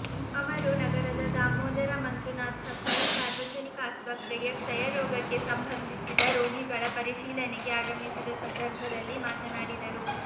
ಅವರು ನಗರದ ದಾಮೋದರ ಮಂಜುನಾಥ ಪೈ ಸಾರ್ವಜನಿಕ ಆಸ್ಪತ್ರೆಗೆ ಕ್ಷಯರೋಗಕ್ಕೆ ಸಂಬಂಧಿ ಸಿದ ರೋಗಿಗಳ ಪರಿಶೀಲನೆಗೆ ಆಗಮಿಸಿದ ಸಂದರ್ಭದಲ್ಲಿ ಮಾತನಾಡಿದರು